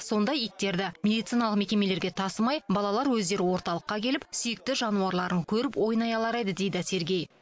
сонда иттерді медициналық мекемелерге тасымай балалар өздері орталыққа келіп сүйікті жануарларын көріп ойнай алар еді дейді сергей